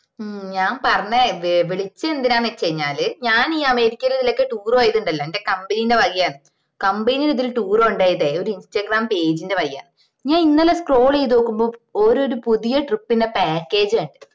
മ്ഞാൻ പറഞ്ഞ വിളിച്ചതെന്തിനാ വെച് കഴിഞ്ഞാല് ഞാൻ ഈ അമേരിക്കേലൊക്കെ tour ഇണ്ടല്ലോ എന്റെ company ന്റെ വകയാണ് company ന്നെ tour കൊണ്ടുപോയത് ഒരു ഇൻസ്റ്റാഗ്രാം page ന്റെ വകയാ ഞാൻ ഇന്നലെ scroll ചെയ്തോക്കുമ്പോ ഓരോരി പുതിയ trip ന്റെ package കണ്ട്